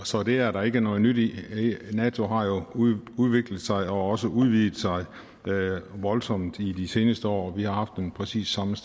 så det er der ikke noget nyt i nato har jo udviklet sig og også udvidet sig voldsomt i de seneste år og vi haft den præcis samme